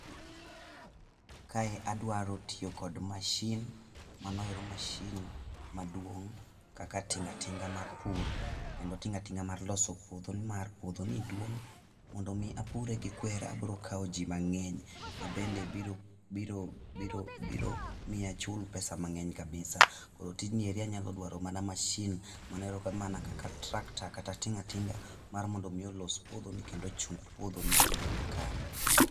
Kae adwaro tiyo kod mashin, mano ero mashin maduong' kaka tinga tinga mar pur kendo tinga tinga mar loso puodhoni nimar puodho ni duong' mondo mi apure gi kwer abiro kawo ji mang'eny ma bende biro biro biro biro miyo achul pesa mang'eny kabisa , koro tijni abiro dwaro mana masin kaka tractor kata tinga tinga mar mondo mi olos puodhoni kendo ochung pudhoni eyo makare.